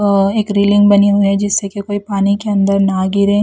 औ एक रेलिंग बनी हुई है जिससे की कोई पानी के अंदर ना गिरे--